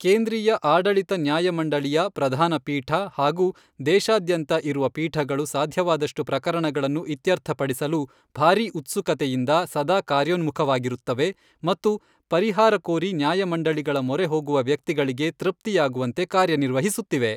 ಕೇಂದ್ರೀಯ ಆಡಳಿತ ನ್ಯಾಯಮಂಡಳಿಯ ಪ್ರಧಾನ ಪೀಠ ಹಾಗೂ ದೇಶಾದ್ಯಂತ ಇರುವ ಪೀಠಗಳು ಸಾಧ್ಯವಾದಷ್ಟು ಪ್ರಕರಣಗಳನ್ನು ಇತ್ಯರ್ಥಪಡಿಸಲು ಭಾರೀ ಉತ್ಸುಕತೆಯಿಂದ ಸದಾ ಕಾರ್ಯೋನ್ಮುಖವಾಗಿರುತ್ತವೆ ಮತ್ತು ಪರಿಹಾರ ಕೋರಿ ನ್ಯಾಯಮಂಡಳಿಗಳ ಮೊರೆ ಹೋಗುವ ವ್ಯಕ್ತಿಗಳಿಗೆ ತೃಪ್ತಿಯಾಗುವಂತೆ ಕಾರ್ಯನಿರ್ವಹಿಸುತ್ತಿವೆ.